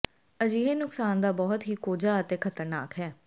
ਅਜਿਹੇ ਨੁਕਸਾਨ ਦਾ ਬਹੁਤ ਹੀ ਕੋਝਾ ਅਤੇ ਖ਼ਤਰਨਾਕ ਹੈ